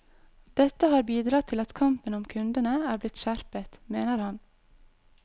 Dette har bidratt til at kampen om kundene er blitt skjerpet, mener han.